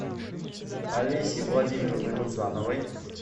олесей владимировной рузановой